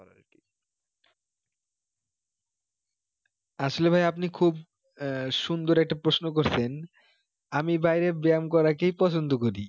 আসলে ভাই আপনি খুব আহ সুন্দর একটা প্রশ্ন করেছেন আমি বাইরে ব্যাম করা কেই পছন্দ করি